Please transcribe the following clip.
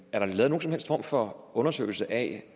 er der lavet nogen som helst form for undersøgelse af